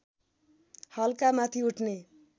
हल्का माथि उठ्ने